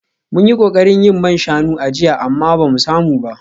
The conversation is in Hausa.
Mun yi kokarin yin man shanu a jiya amma ba mu samu ba